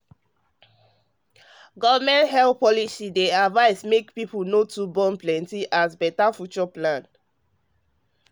government health policy dey advice make people no too born plenty as better future plan